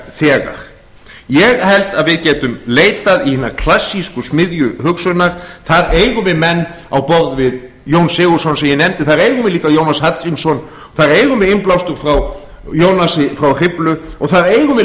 úrelt þegar ég held að við getum leitað í hina klassísku smiðju hugsunar þar eigum við menn á borð við jón sigurðsson sem ég nefndi þar eigum við líka jónas hallgrímsson þar eigum við innblástur frá jónasi frá hriflu og þar eigum við